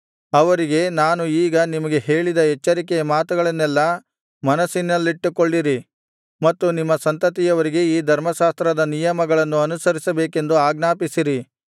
ಅವರಿಗೆ ನಾನು ಈಗ ನಿಮಗೆ ಹೇಳಿದ ಎಚ್ಚರಿಕೆಯ ಮಾತುಗಳನ್ನೆಲ್ಲಾ ಮನಸ್ಸಿನಲ್ಲಿಟ್ಟುಕೊಳ್ಳಿರಿ ಮತ್ತು ನಿಮ್ಮ ಸಂತತಿಯವರಿಗೆ ಈ ಧರ್ಮಶಾಸ್ತ್ರದ ನಿಯಮಗಳನ್ನು ಅನುಸಿರಿಸಬೇಕೆಂದು ಆಜ್ಞಾಪಿಸಿರಿ